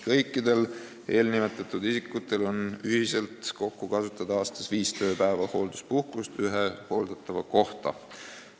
Kõikidel nimetatud isikutel ühiselt on aastas kokku kasutada viis tööpäeva hoolduspuhkust ühe hooldatava kohta.